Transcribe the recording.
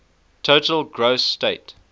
total gross state